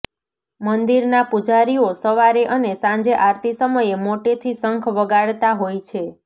મંદિરના પૂજારીઓ સવારે અને સાંજે આરતી સમયે મોટેથી શંખ વગાડતા હોય છે